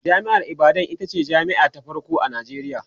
jami'ar ibadan itace jami'a ta farko a Nijeriya